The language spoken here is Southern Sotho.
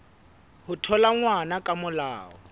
ho thola ngwana ka molao